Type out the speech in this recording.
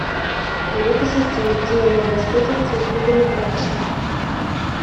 привет ассистент где я могу воспользоваться услугами прачечной